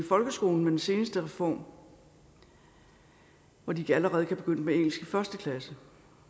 folkeskolen med den seneste reform hvor de allerede kan begynde med engelsk i første klasse